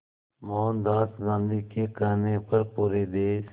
मोहनदास गांधी के कहने पर पूरे देश